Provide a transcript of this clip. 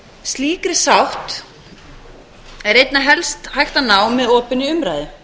slíkri sátt er einna helst hægt að ná með opinni umræðu